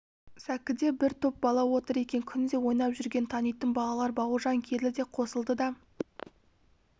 сәкіде бір топ бала отыр екен күнде ойнап жүрген танитын балалар бауыржан келді де қосылды да